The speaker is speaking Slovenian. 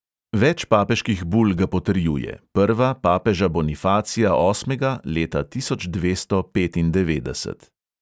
Več papeških bul ga potrjuje, prva papeža bonifacija osmega leta tisoč dvesto petindevetdeset.